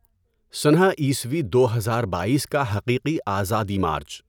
سنہ عیسوی دو ہزار بائیس کا حقیقی آزادی مارچ